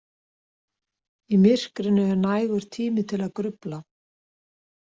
Í myrkrinu er nægur tími til að grufla.